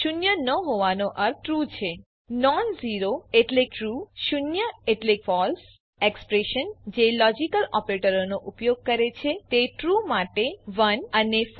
શૂન્ય ન હોવાનો અર્થ ટ્રૂ છે નોન ઝેરો ટ્રૂ શૂન્ય એટલે ફળસે ઝેરો ફળસે એક્સપ્રેશન જે લોજીકલ ઓપરેટરોનો ઉપયોગ કરે છે તે ટ્રૂ માટે 1 અને ફળસે માટે 0 રીટર્ન કરે છે